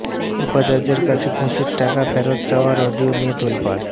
উপাচার্যের কাছে ঘুষের টাকা ফেরত চাওয়ার অডিও নিয়ে তোলপাড়